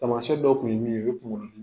Taamasiyɛn dɔw tun ye min ye o ye kuŋolo dim